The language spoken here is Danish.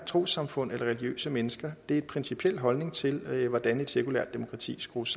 trossamfund eller religiøse mennesker det er en principiel holdning til hvordan et sekulært demokrati skrues